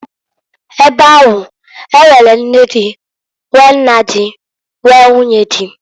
Ebe ahu, e nwere nne di, nwee nna di, nwee, nwunye di.